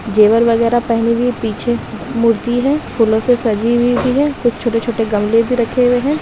जेवर वगेरह पेहनी हुई पीछे मूर्ति हे फूलों से सजी हुई भी हे कुछ छोटे-छोटे गमले भी रखे हुए हैं।